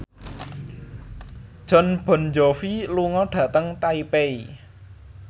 Jon Bon Jovi lunga dhateng Taipei